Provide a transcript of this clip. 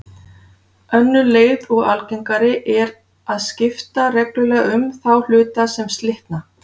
Önnur leið og algengari er að skipta reglulega um þá hluta sem slitna.